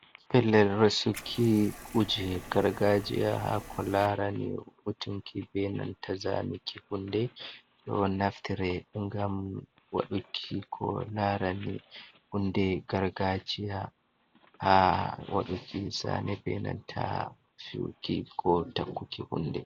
Pellel resuki kuje gargajiya haa ko larani butunki be nanta zanuki hunde. Ɗo naftire ngam waɗuki ko larani hunde gargajiya haa waɗuki zane be nanta fiyuki ko takkuki hunde.